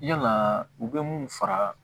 Yalaa u bɛ mun fara